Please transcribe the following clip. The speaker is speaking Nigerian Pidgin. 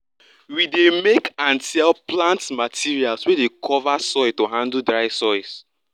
we dey make and sell plant materials wey dey cover soil to handle dry soils